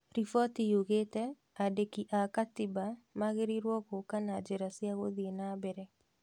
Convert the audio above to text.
Riboti yugĩte andĩki a gatiba magĩrĩrwe gũka na njira cia gũthii na mbere